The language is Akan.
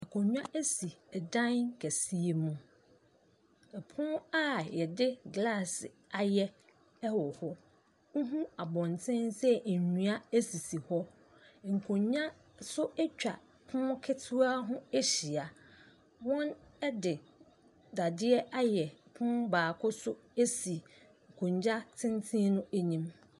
Akongua si ɔdan kɛse si yi mu ɛpono a yɛde glaase ayɛ wɔ hɔ wohu abɔnten sɛ nnua sisi hɔ nkongua nso atwa pono ketewa ho ahyia wɔde dade ayɛ pono biako si akongua tenten no anim.